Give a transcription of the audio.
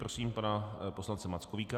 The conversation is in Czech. Prosím pana poslance Mackovíka.